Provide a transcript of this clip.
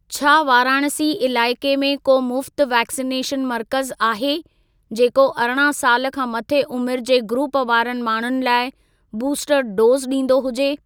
छा वाराणसी इलाइक़े में को मुफ़्त वैक्सिनेशन मर्कज़ आहे, जेको अरिड़हं साल खां मथे उमिरि जे ग्रूप वारनि माण्हुनि लाइ बूस्टर डोज़ ॾींदो हुजे?